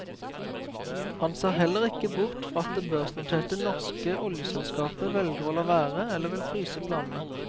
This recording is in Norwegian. Han ser heller ikke bort fra at det børsnoterte norske oljeselskapet velger å la være, eller vil fryse planene.